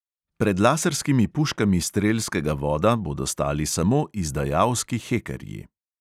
Pred laserskimi puškami strelskega voda bodo stali samo izdajalski hekerji.